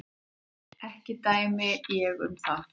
Ekki dæmi ég um það.